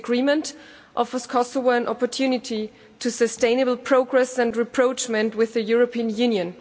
This agreement offers Kosovo an opportunity for sustainable progress and rapprochement with the European Union.